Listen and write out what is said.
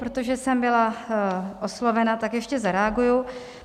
Protože jsem byla oslovena, tak ještě zareaguji.